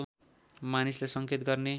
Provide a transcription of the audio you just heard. मानिसलाई सङ्केत गर्ने